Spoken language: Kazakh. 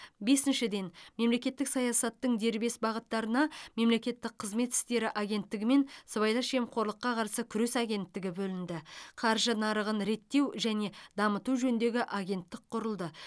бесіншіден мемлекеттік саясаттың дербес бағыттарына мемлекеттік қызмет істері агенттігі мен сыбайлас жемқорлыққа қарсы күрес агенттігі бөлінді қаржы нарығын реттеу және дамыту жөніндегі агенттік құрылды